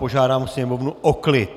Požádám Sněmovnu o klid!